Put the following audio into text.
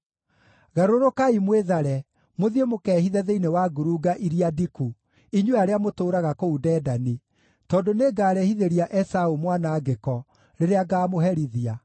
Garũrũkai mwĩthare, mũthiĩ mũkehithe thĩinĩ wa ngurunga iria ndiku, inyuĩ arĩa mũtũũraga kũu Dedani, tondũ nĩngarehithĩria Esaũ mwanangĩko rĩrĩa ngaamũherithia.